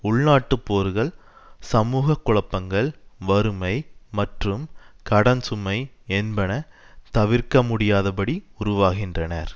உள்நாட்டுப்போர்கள் சமூக குழப்பங்கள் வறுமை மற்றும் கடன்சுமை என்பன தவிர்க்கமுடியாதபடி உருவாகின்றனர்